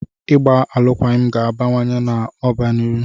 Ịgba alụkwaghịm ga-abawanye ụba n'ọdịnihu.